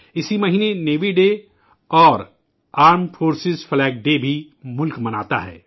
اسی مہینے Navy Day Armed Forces Flag Day بھی ملک مناتا ہے